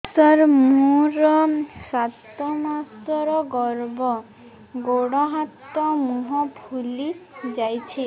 ସାର ମୋର ସାତ ମାସର ଗର୍ଭ ଗୋଡ଼ ହାତ ମୁହଁ ଫୁଲି ଯାଉଛି